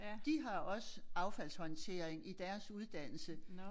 De har også affaldshåndtering i deres uddannelse